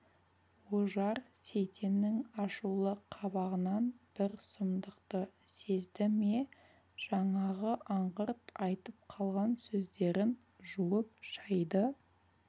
ожар сейтеннің ашулы қабағынан бір сұмдықты сезді ме жаңағы аңғырт айтып қалған сөздерін жуып-шайды